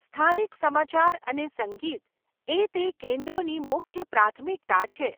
સ્થાનિક સમાચાર અને સંગીત એ તે કેન્દ્રોની મુખ્ય પ્રાથમિકતા છે.